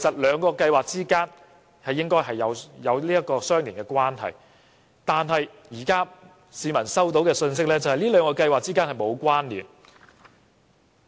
兩項計劃本應有相連關係，但市民收到的信息是這兩項計劃並沒有關連。